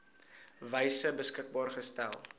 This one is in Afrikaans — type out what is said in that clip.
wyse beskikbaar gestel